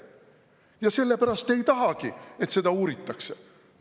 Ja sellepärast te ei tahagi, et seda uuritakse.